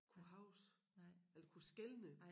Kunne huske eller kunne skelne